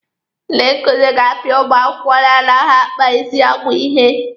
Ndị nkuzi ga-apịa ụmụ akwụkwọ na-anaghị akpa ezi agwa ihe.